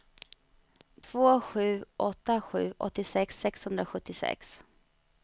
två sju åtta sju åttiosex sexhundrasjuttiosex